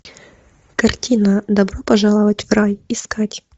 картина добро пожаловать в рай искать